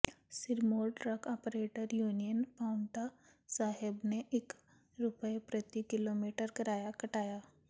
ਸਿਰਮੌਰ truck operator union Paonta Sahib ਨੇ ਇਕ ਰੁਪਇਆ ਪ੍ਰਤੀ ਕਿਲੋਮੀਟਰ ਕਿਰਾਇਆ ਘਟਾਇਆ